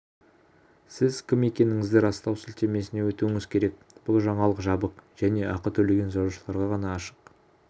сіз кім екендігіңізді растау сілтемесіне өтуіңіз керек бұл жаңалық жабық және ақы төлеген жазылушыларға ғана ашық